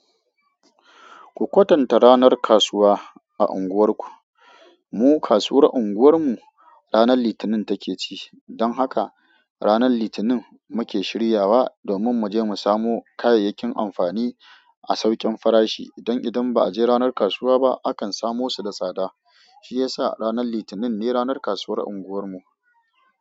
Ku kwatanta ranar kasuwa a unguwarku. Mu kasuwar unguwar mu ranar Litinin take ci, don haka ranar Litinin muke shiryawa domin mu je mu samo kayayyakin amfani a saukin farashi. Dan idan ba a je ranar kasuwa ba akan samo su da tsada. Shi ya sa ranar Litinin ne ranar kasuwar unguwar mu.